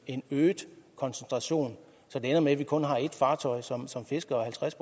en øget koncentration så det ender med at man kun har ét fartøj som som fisker halvtreds